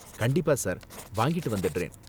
கண்டிப்பா சார், வாங்கிட்டு வந்திடுறேன்